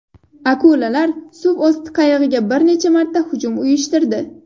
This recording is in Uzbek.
Akulalar suv osti qayig‘iga bir necha marta hujum uyushtirdi.